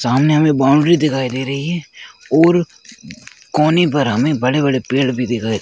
सामने हमे बॉउन्ड्री दिखाई दे रही हैं और कोने पर हमे बड़े बड़े पेड़ भी दिख --